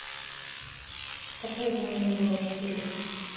какое звание было у штирлица